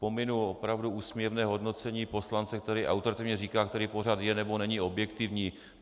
Pominu opravdu úsměvné hodnocení poslance, který autoritativně říká, který pořad je, nebo není objektivní.